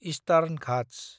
eastern Ghats